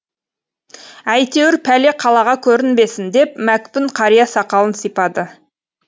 әйтеуір пәле қалаға көрінбесін деп мәкпүн қария сақалын сипады